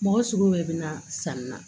Mɔgɔ sugu de bɛ na sanni na